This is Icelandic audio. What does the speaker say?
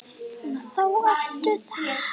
Svo þarna ertu þá!